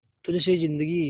तुझ से जिंदगी